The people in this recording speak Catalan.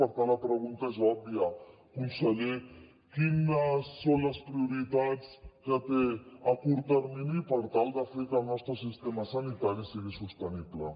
per tant la pregunta és òbvia conseller quines són les prioritats que té a curt termini per tal de fer que el nostre sistema sanitari sigui sostenible